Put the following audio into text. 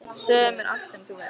Segðu mér allt sem þú veist.